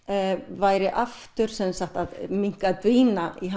væri aftur að dvína í